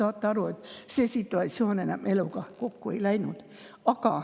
Saate aru, see situatsioon enam eluga kokku ei läinud.